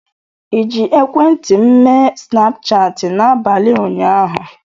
ịji ekwentị m mee Snapchatị n'abalị ụnyaahụ?